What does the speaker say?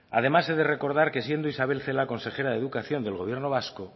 además he de recordar que siendo isabel celaá consejera de educación del gobierno vasco